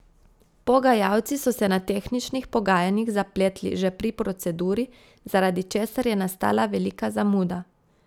Pogajalci so se na tehničnih pogajanjih zapletli že pri proceduri, zaradi česar je nastala velika zamuda.